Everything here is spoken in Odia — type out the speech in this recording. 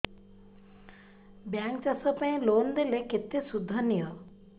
ବ୍ୟାଙ୍କ୍ ଚାଷ ପାଇଁ ଲୋନ୍ ଦେଲେ କେତେ ସୁଧ ନିଏ